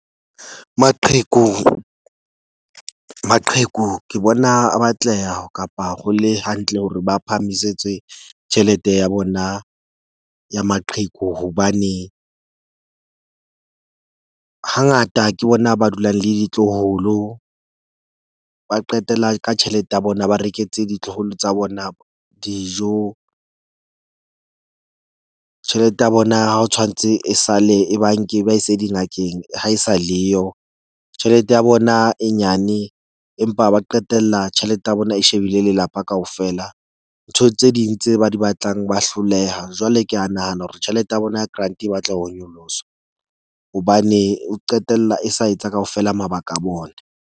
Maqheku ke bona a batleha kapa ho le hantle hore ba phahamisetswe tjhelete ya bona ya maqheku. Hobane hangata ke bona ba dulang le ditloholo ba qetela ka tjhelete ya bona, ba reketse ditloholo tsa bona dijo, tjhelete ya bona ha tshwantse e sa le e ba nke e ba ise dingakeng, ha e sa leyo. Tjhelete ya bona e nyane empa ba qetella tjhelete ya bona e shebile lelapa kaofela. Ntho tse ding tse ba di batlang ba hloleha. Jwale ke a nahana hore tjhelete ya bona ya grant e batla ho nyoloswa hobane e qetella e sa etsa kaofela mabaka a bona.